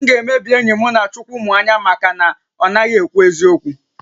M ga-emebi enyi m Chukwumuanya maka na ọ naghị ekwu eziokwu